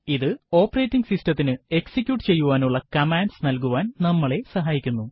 ഇത് ഓപ്പറേറ്റിംഗ് സിസ്ടതിനു എക്സിക്യൂട്ട് ചെയ്യുവാനുള്ള കമാൻഡ്സ് നൽകുവാൻ നമ്മളെ സഹായിക്കുന്നു